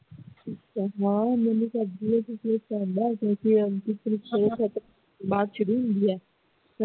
ਬਾਅਦ ਵਿੱਚ ਨਹੀਂ ਹੁੰਦੀਆਂ